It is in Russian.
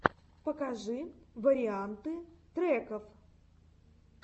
покажи варианты треков